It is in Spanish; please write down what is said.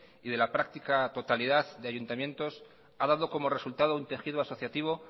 y de la práctica totalidad de ayuntamientos ha dado como resultado un tejido asociativo